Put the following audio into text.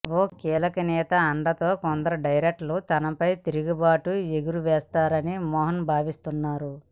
ఓ కీలక నేత అండతో కొందరు డైరెక్టర్లు తనపై తిరుగుబావుటా ఎగురవేశారని మోహన్ భావిస్తున్నారు